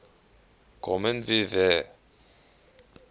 kommen wir wer